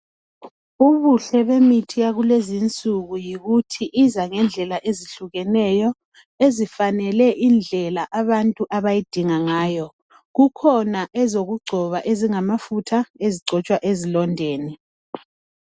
Ubuhle bemithi yakulezinsuku yikuthi iza ngendlela ezihlukeneyo, ezifanele indlela abantu abayidinga ngayo. Kukhona ezokugcoba ezingamafutha ezigcotshwa ezilondeni.